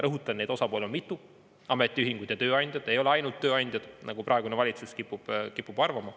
Rõhutan, neid osapooli on mitu: ametiühingud ja tööandjad, ei ole ainult tööandjad, nagu praegune valitsus kipub arvama.